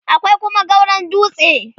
akwai Kuma gauron dutse